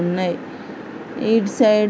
ఉన్నాయ్ ఈడ్ సైడ్ ఉన్నాయ్.